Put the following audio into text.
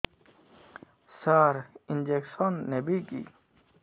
ସାର injection ନେବିକି